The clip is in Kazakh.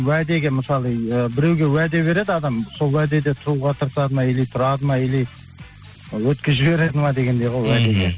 уәдеге мысалы ы біреуге уәде береді адам сол уәдеде тұруға тырысады ма или тұрады ма или өткізіп жібереді ма дегендей ғой мхм